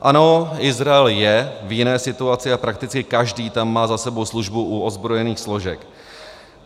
Ano, Izrael je v jiné situaci a prakticky každý tam má za sebou službu u ozbrojených složek.